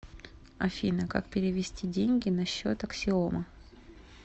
афина как перевести деньги на счет аксиома